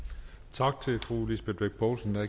tak til fru lisbeth bech poulsen der